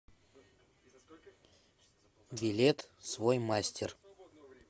билет свой мастер